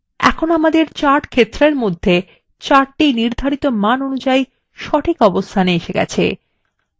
আমরা chart ক্ষেত্রর মধ্যে chart নির্ধারিত মান অনুযায়ী সঠিক অবস্থানে এসে গেছে